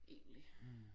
Egentlig